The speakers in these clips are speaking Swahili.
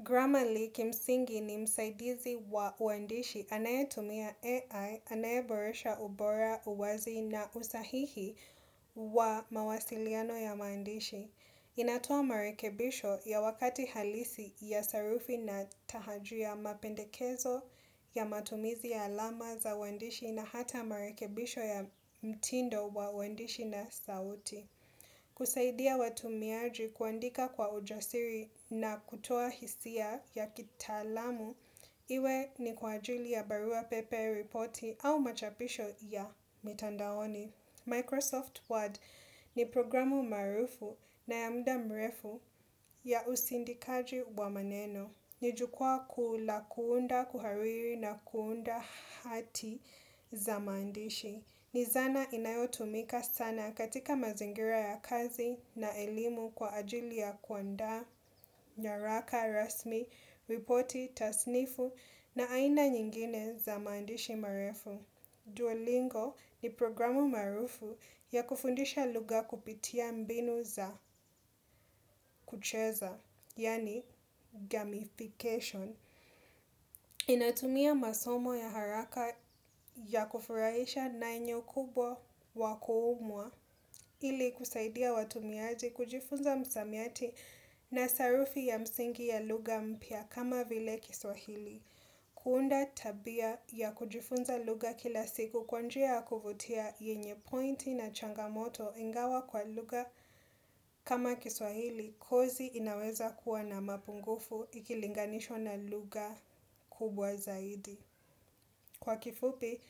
Gramali kimsingi ni msaidizi wa uandishi anayetumia AI, anayeboresha ubora, uwazi na usahihi wa mawasiliano ya maandishi. Inatoa marekebisho ya wakati halisi ya sarufi na tahaji ya mapendekezo, ya matumizi ya alama za uandishi na hata marekebisho ya mtindo wa uandishi na sauti. Kusaidia watumiaji, kuandika kwa ujasiri na kutoa hisia ya kitaalamu Iwe ni kwa ajili ya barua pepe, reporti au machapisho ya mitandaoni. Microsoft Word ni programu maarufu na ya muda mrefu ya usindikaji wa maneno. Ni jukwaa kuu la kuunda, kuhariri na kuunda hati za maandishi. Ni zana inayotumika sana katika mazingira ya kazi na elimu kwa ajili ya kuandaa nyaraka rasmi, ripoti, tasnifu na aina nyingine za maandishi marefu. Duolingo ni programu maarufu ya kufundisha lugha kupitia mbinu za kucheza, yaani gamification. Inatumia masomo ya haraka ya kufurahisha nanyo kubwa wakuumwa ili kusaidia watumiaji kujifunza msamiati na sarufi ya msingi ya lugha mpya kama vile kiswahili. Kuunda tabia ya kujifunza lugha kila siku kwa njia kuvutia yenye pointi na changamoto ingawa kwa lugha kama kiswahili kozi inaweza kuwa na mapungufu ikilinganishwa na lugha kubwa zaidi. Kwa kifupi,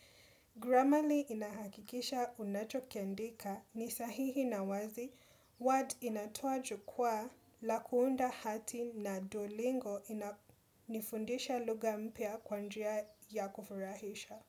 gramali inahakikisha unachokiandika ni sahihi na wazi, huwa inatoa jukwaa la kuunda hati na duolingo inafundisha lugha mpya kwa njia ya kufurahisha.